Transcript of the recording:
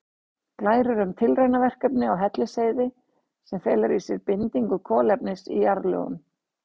Glærur um tilraunaverkefni á Hellisheiði sem felur í sér bindingu kolefnis í jarðlögum.